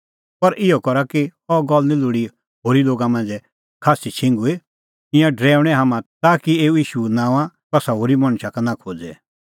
पर इहअ करा कि अह गल्ल निं लोल़ी होरी लोगा मांझ़ै खास्सी छिंघुई ईंयां डरैऊणैं हाम्हां ताकि एऊ ईशू नांओंआं कसा होरी मणछा का नां खोज़े